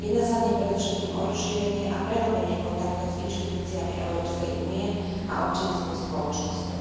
Jedná sa v nej predovšetkým o rozšírenie a prehĺbenie kontaktov s inštitúciami Európskej únie a občianskou spoločnosťou.